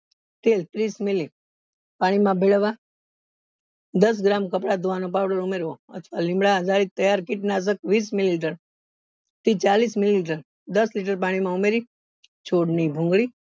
તે ત્રીસ મિલી પાણી માં ભેળવવા દસ gram કપડા ધોવા નો powder ઉમેરવો અથવા લીમડા વીસ મિલી લીટર થી ચાળીસ લીટર દસ લીટર પાણી માં ઉમેરી છોડ ની ભૂંગળી